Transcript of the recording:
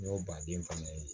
N y'o baden fana ye